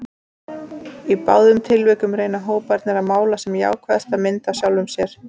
Í báðum tilvikum reyna hóparnir að mála sem jákvæðasta mynd af sjálfum sér.